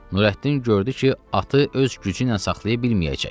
Nurəddin gördü ki, atı öz gücü ilə saxlaya bilməyəcək.